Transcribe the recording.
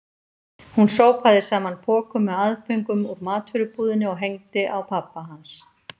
Hún sópaði saman pokum með aðföngum úr matvörubúðinni og hengdi á pabba hans.